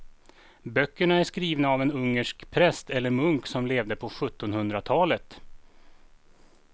Böckerna är skrivna av en ungersk präst eller munk som levde på sjuttonhundratalet.